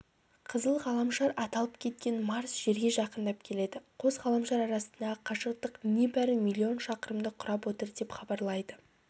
қызыл ғаламшар аталып кеткен марс жерге жақындап келеді қос ғаламшар арасындағы қашықтық небәрі миллион шақырымды құрап отыр деп хабарлайды